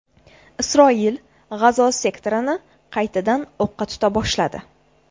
Isroil G‘azo sektorini qaytadan o‘qqa tuta boshladi.